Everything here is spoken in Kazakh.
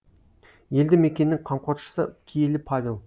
елді мекеннің қамқоршысы киелі павел